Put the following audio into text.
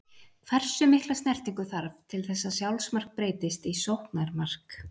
Hversu mikla snertingu þarf til þess að sjálfsmark breytist í sóknarmark?